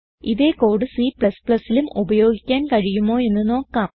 ഇതേ കോഡ് Cലും ഉപയോഗിക്കാൻ കഴിയുമോയെന്ന് നോക്കാം